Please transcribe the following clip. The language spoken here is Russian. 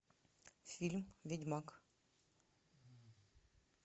фильм ведьмак